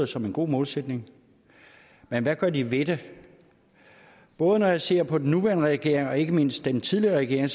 som en god målsætning men hvad gør de ved det både når jeg ser på den nuværende regering og ikke mindst den tidligere regering